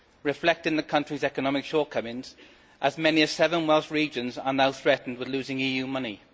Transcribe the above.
reflecting the country's economic shortcomings, as many as seven Welsh regions are now threatened with losing EU money.